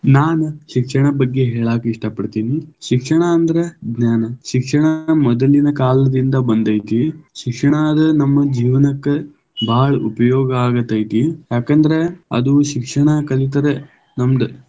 ನಾನು ಶಿಕ್ಷಣದ ಬಗ್ಗೆ ಹೇಳಾಕ ಇಷ್ಟಾ ಪಡತೀನಿ, ಶಿಕ್ಷಣ ಅಂದರ ಜ್ಞಾನ, ಶಿಕ್ಷಣ ಮೊದಲಿನ ಕಾಲದಿಂದ ಬಂದೈತಿ, ಶಿಕ್ಷಣ ಅದ ನಮ್ಮ ಜೀವನಕ ಭಾಳ ಉಪಯೋಗ ಆಗತೈತಿ, ಯಾಕಂದ್ರ ಅದು ಶಿಕ್ಷಣ ಕಲಿತರೆ ನಮ್ದ.